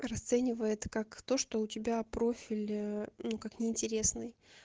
расценивает как то что у тебя профиль ээ ну как не интересный